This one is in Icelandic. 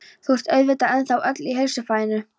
Þú ert auðvitað ennþá öll í heilsufæðinu?